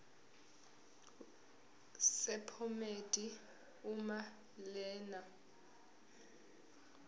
sephomedi uma lena